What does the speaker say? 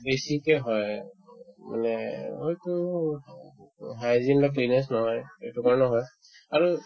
বেছিকে হয়ে মানে হয়তো hygiene বিলাক cleanness নহয় এইটো কাৰণেও হয় আৰু